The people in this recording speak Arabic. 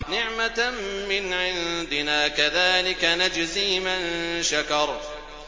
نِّعْمَةً مِّنْ عِندِنَا ۚ كَذَٰلِكَ نَجْزِي مَن شَكَرَ